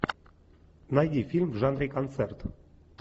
найди фильм в жанре концерт